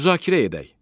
Müzakirə edək.